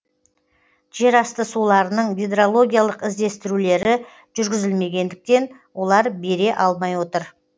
жерасты суларының гидрологиялық іздестірулері жүргізілмегендіктен олар бере алмай отыр